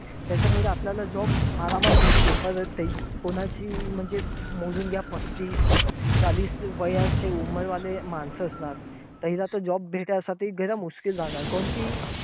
त्याच्यामुळे आपल्याला job आरामात भेटते. पर ते कोणाची अं म्हणजे मोजून घ्या पस्तीस चालीस वयाची वाले माणसं असणार, त्याला तर job भेटायला गैरं राहणार. काऊन कि